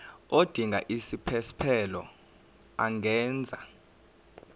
odinga isiphesphelo angenza